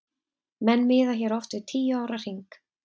Menn miða hér oft við tíu ára hring.